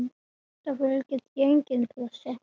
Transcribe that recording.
Það fylgir því engin pressa.